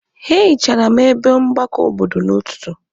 A hichara m ebe mgbakọ obodo n'ọtụtụ.